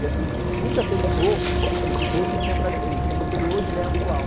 E assim, nunca terminou de dizer o que tinha para dizer, então você lê hoje e lê atual.